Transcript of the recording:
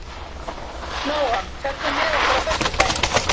Nóam, ferð þú með okkur á föstudaginn?